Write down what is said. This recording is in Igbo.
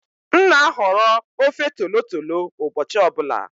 M na-ahọrọ ofe tolotolo ụbọchị ọ bụla.